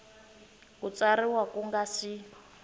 ku tsarisiwa ku nga si